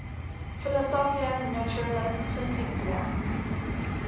philosophiae naturalis principia